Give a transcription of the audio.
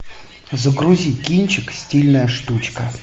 загрузи кинчик стильная штучка